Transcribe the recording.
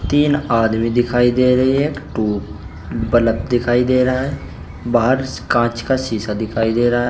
तीन आदमी दिखाई दे रही है एक ठु बल्ब दिखाई दे रहा है बाहर कांच का शीशा दिखाई दे रहा है।